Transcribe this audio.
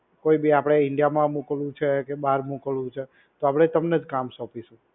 કોઇ ભી આપણે ઇન્ડિયામાં મોકલવું છે કે બહાર મોકલવું છે તો આપણે તમને જ કામ સોંપીશું.